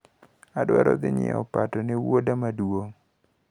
Adwaro dhi nyiewo opato ne wuoda maduong`.